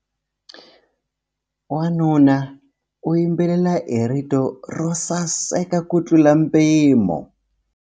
Wanuna u yimbelela hi rito ro saseka kutlula mpimo.